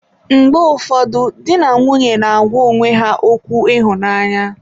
Mgbe ụfọdụ di na nwunye na-agwa onwe ha okwu ịhụnanya.